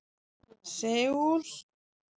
Seúl